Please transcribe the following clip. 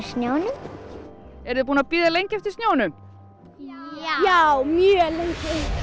snjónum eruð þið búin að bíða lengi eftir snjónum já mjög lengi